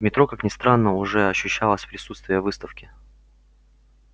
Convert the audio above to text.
в метро как ни странно уже ощущалось присутствие выставки